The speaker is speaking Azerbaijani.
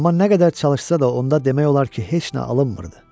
Amma nə qədər çalışsa da, onda demək olar ki, heç nə alınmırdı.